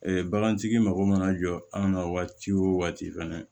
bagantigi mago mana jɔ an ka waati o waati fɛnɛ